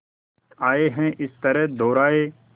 आए हैं इस तरह दोराहे